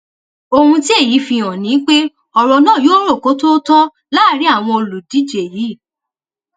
ohun tí èyí fi hàn ni pé ọrọ náà yóò rò kó tóó tọ láàrin àwọn olùdíje yìí